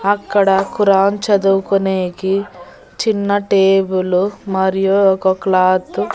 అక్కడ ఖురాన్ చదువుకునేకి చిన్న టేబులు మరియు ఒక క్లాత్ .